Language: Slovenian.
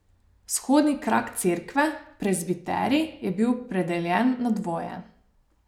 Vzhodni krak cerkve, prezbiterij, je bil predeljen na dvoje.